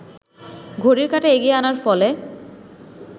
ঘড়ির কাঁটা এগিয়ে আনার ফলে